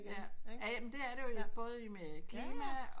Jaja men det er det både med klima